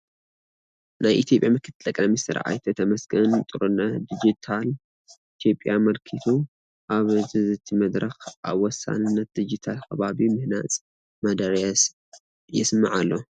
ናይ ኢትዮጵያ ምክትል ጠቕላይ ሚኒስትር ኣይተ ተመስገን ጥሩነህ ዲጂታል ኢትዮጵያ ኣመልኪቱ ኣብ ዝዝቲ መድረኽ ኣብ ወሳንነት ዲጂታል ኸባቢ ምህናፅ መደረ የስምዑ ኣለዉ፡፡